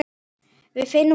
Við finnum út úr þessu.